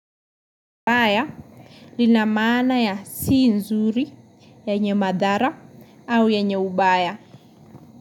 Mbaya linamaana ya si nzuri, yenye madhara au ye nye ubaya.